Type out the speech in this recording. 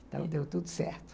Então, deu tudo certo.